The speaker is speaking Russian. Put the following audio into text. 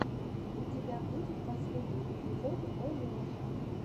у тебя будет последний эпизод олеши